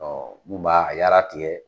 Ɔɔ mun ba a yara tigɛ